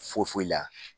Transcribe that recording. Foyi foyi la